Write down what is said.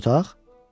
Bir otaq?